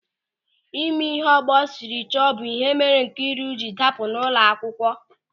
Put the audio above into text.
Ịme ịhe ọgbọ sịrị chọọ bụ ịhe mere Nkịru jiri dapụ n'ụlọakwukwo.